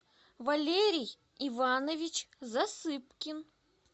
валерий иванович засыпкин